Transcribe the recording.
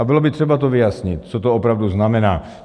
A bylo by třeba to vyjasnit, co to opravdu znamená.